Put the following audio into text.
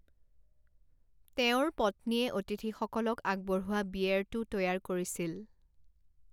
তেওঁৰ পত্নীয়ে অতিথিসকলক আগবঢ়োৱা বিয়েৰটো তৈয়াৰ কৰিছিল।